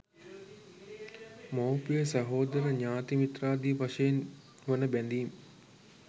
මවුපිය, සහෝදර, ඥාති මිත්‍රාදි වශයෙන් වන බැඳීම්